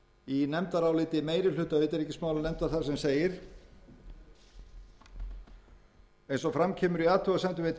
í nefndaráliti meiri hluta utanríkismálanefndar þar sem segir með leyfi forseta eins og fram kemur í athugasemdum